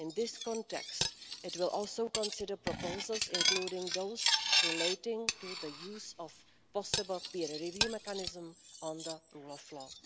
In this context, it will also consider proposals including those relating to the use of possible peer review mechanisms on the rule of law.